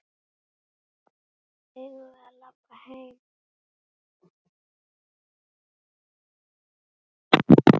Eigum við að labba heim?